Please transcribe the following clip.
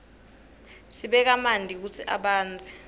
sibeka manti kutsi abandze